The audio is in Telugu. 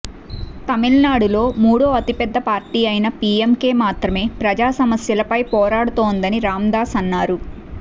తమిళనాడులో మూడో అతి పెద్ద పార్టీ అయిన పీఎంకే మాత్రమే ప్రజా సమస్యలపై పోరాడుతోందని రాందాస్ అన్నారు